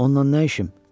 Ondan nə işim?